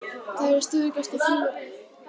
Það er stöðugasta frumefnið.